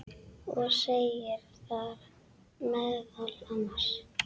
og segir þar meðal annars